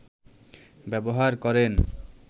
ব্যবহার করেন